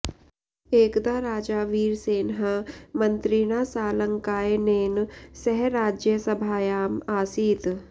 एकदा राजा वीरसेनः मन्त्रिणा सालङ्कायनेन सह राज्यसभायाम् आसीत्